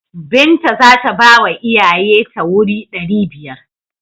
Binta za ta bawa iyaye ta wuri ɗari biyar.